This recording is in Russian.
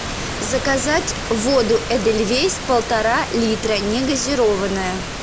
заказать воду эдельвейс полтора литра негазированная